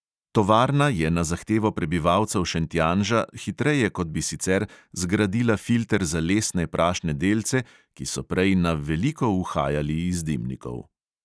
Tovarna je na zahtevo prebivalcev šentjanža hitreje kot bi sicer zgradila filter za lesne prašne delce, ki so prej na veliko uhajali iz dimnikov.